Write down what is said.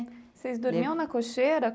Vocês dormiam na cocheira?